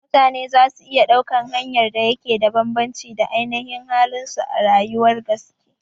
Mutane zasu iya ɗaukan hanyar da yake da bambanci da ainashin halin su a rayuwar gaske